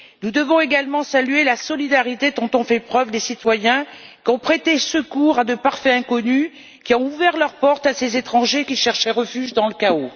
Nous devons également saluer la solidarité dont ont fait preuve des citoyens qui ont prêté secours à de parfaits inconnus, qui ont ouvert leurs portes à ces étrangers qui cherchaient refuge dans le chaos.